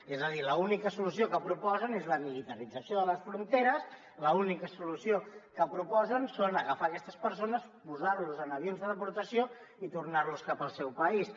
és a dir l’única solució que proposen és la militarització de les fronteres l’única solució que proposen és agafar aquestes persones posar los en avions de deportació i tornar los cap al seu país